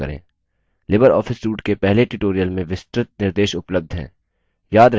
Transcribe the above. Libre office suite के पहले tutorial में विस्तृत निर्देश उपलब्ध हैं